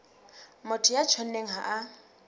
motho ya tjhonneng ha a